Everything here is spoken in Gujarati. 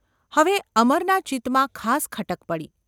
હવે અમરના ચિત્તમાં ખાસ ખટક પડી.